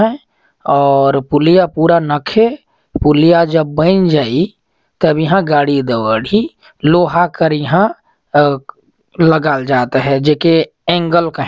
और पुलिया पूरा नखे पुलिया जब बन जही तब इहाँ गाड़ी दौड़ही लोहा कड़िहा अऊ लगल जात हैं जेके ऐंगल कहेन ह ।